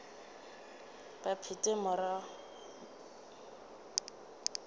ba phethe morero woo wa